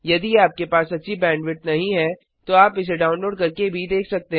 यदि आपके पास अच्छी बैंडविड्थ नहीं है तो आप इसे डाउनलोड करके भी देख सकते हैं